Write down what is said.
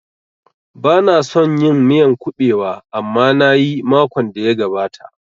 Bana son yin miyan kuɓewa amma nayi makon da ya gabata